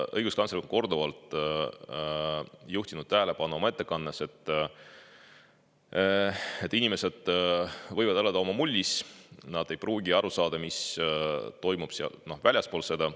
Õiguskantsler on oma ettekandes korduvalt juhtinud tähelepanu sellele, et inimesed võivad elada oma mullis, nad ei pruugi aru saada, mis toimub väljaspool seda.